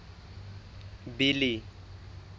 billy